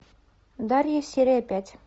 дарья серия пять